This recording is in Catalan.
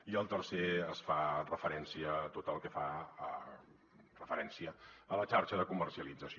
i al tercer es fa referència a tot el que fa referència a la xarxa de comercialització